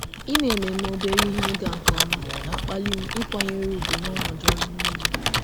Ime ememe obere ihe ịga nke ọma na-akpali m ịkwanyere ùgwù nọnọdụ ọrụ niile.